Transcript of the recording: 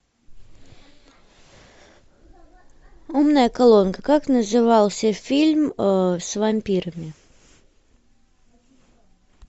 умная колонка как назывался фильм с вампирами